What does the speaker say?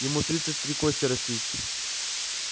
ему тридцать три кости растить